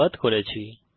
অংশগ্রহনের জন্য ধন্যবাদ